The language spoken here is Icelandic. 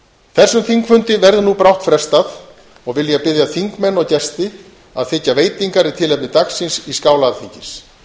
þessum þingfundi verður nú brátt frestað og vil ég biðja þingmenn og gesti að þiggja veitingar í tilefni dagsins í skála alþingis